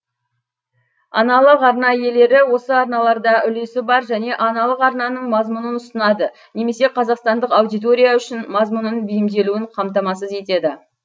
аналық арна иелері осы арналарда үлесі бар және аналық арнаның мазмұнын ұсынады немесе қазақстандық аудитория үшін мазмұнын бейімделуін қамтамасыз етеді